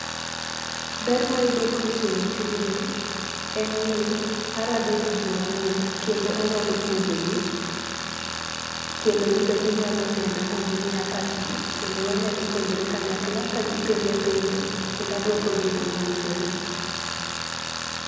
Ber ma ayudo kuom timo tijni, en ni, arado gi ji mang'eny kendo anyalo puonjogi, kendo gibe ginyalo nena ma gi miya pachgi kendo wanyalo puonjore kanyakla ka gi penja penjo kendo aduokogi e yoo mowinjore.